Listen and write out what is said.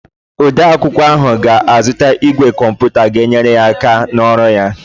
Odeakwụkwọ ahụ ga-azụta ígwè komputa ga-enyere ya aka n'ọrụ ya.